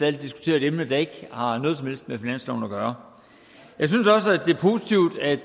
at diskutere et emne der ikke har noget som helst med finansloven at gøre jeg synes også